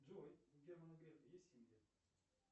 джой у германа грефа есть семья